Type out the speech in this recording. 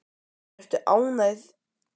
Ertu ánægður með viðskilnaðinn við Fram?